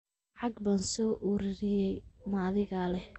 Lacag baan soo ururiyay, ma adigaa lex?